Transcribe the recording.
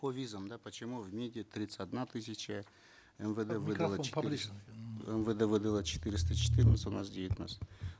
по визам да почему в мид е тридцать одна тысяча мвд выдало мвд выдало четыреста четырнадцать у нас девятнадцать